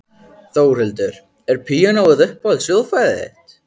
Þórhildur: Er píanóið uppáhalds hljóðfærið þitt?